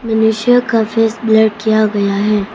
मनुष्यों का face blur किया गया है।